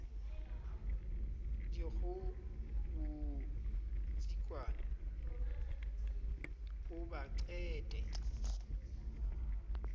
dikgoho botsikwane bo ba qete